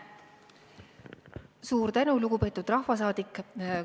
Suur tänu, lugupeetud rahvasaadik!